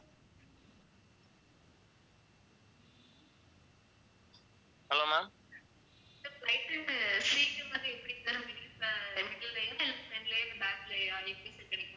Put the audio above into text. sir flight க்கு seat வந்து எப்படி sir middle front லயா back லயா எப்படி sir கிடைக்கும்